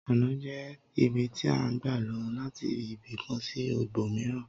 Ònà jẹ́ ibi tí à ń gbà lo láti ibì kan sí ibòmíràn